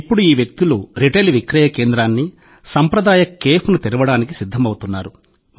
ఇప్పుడు ఈ వ్యక్తులు రిటైల్ విక్రయకేంద్రాన్ని సంప్రదాయ కేఫ్ను తెరవడానికి సిద్ధమవుతున్నారు